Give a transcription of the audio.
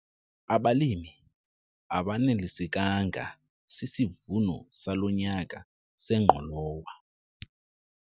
Abalimi abanelisekanga sisivuno salo nyaka sengqolowa.